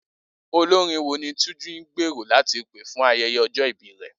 Olorin wo ni Túnjí ń gbèrò láti pè fún ayẹyẹ ọjọ́ ìbí rẹ̀?